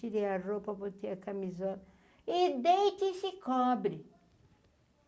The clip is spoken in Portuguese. Tirei a roupa, botei a camisola e deite e se cobre.